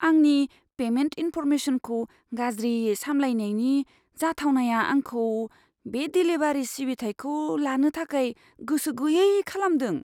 आंनि पेमेन्ट इनफर्मेसनखौ गाज्रियै साम्लायनायनि जाथावनाया आंखौ बे देलिभारी सिबिथाइखौ लानो थाखाय गोसो गैयै खालामदों।